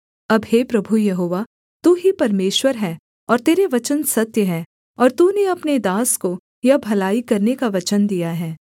अब हे प्रभु यहोवा तू ही परमेश्वर है और तेरे वचन सत्य हैं और तूने अपने दास को यह भलाई करने का वचन दिया है